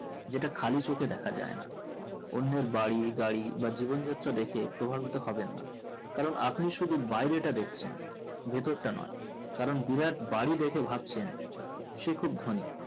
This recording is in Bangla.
যেটা খালি চোক দেখা যাই না অন্যের বাড়ি গাড়ি বা জীবনযাত্রা দেখে প্রভাবিত হবেন না কারণ আপনি শুধু বাইরেটা দেখছেন ভেতরটা নয় কারণ বিরাট বারিদেখে ভাবছেন সে খুব ধোনি